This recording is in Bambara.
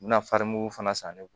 Bɛna farimugu fana san ne bolo